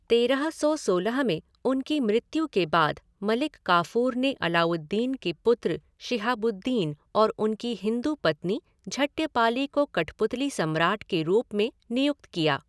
तेरह सौ सोलह में उनकी मृत्यु के बाद मलिक काफ़ूर ने अलाउद्दीन के पुत्र शिहाबुद्दीन और उनकी हिंदू पत्नी झट्यपाली को कठपुतली सम्राट के रूप में नियुक्त किया।